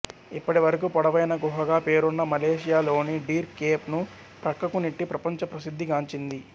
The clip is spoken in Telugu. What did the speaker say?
ఇప్పటివరకు పొడవైన గుహగా పేరున్న మలేషియా లోని డీర్ కేప్ ను ప్రక్కకు నెట్టి ప్రపంచ ప్రసిద్ధి గాంచింది